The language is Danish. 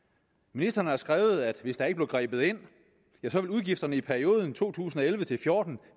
ministeren har skrevet at hvis der ikke blev grebet ind ville udgifterne i perioden to tusind og elleve til fjorten